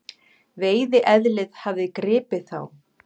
Veiðieðlið hafði gripið þá.